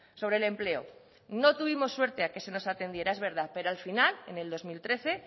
sobre el empleo no tuvimos suerte a que se nos atendiera es verdad pero al final en el dos mil trece